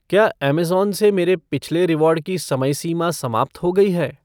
क्या अमेज़न से मेरे पिछले रिवॉर्ड की समय सीमा समाप्त हो गई है?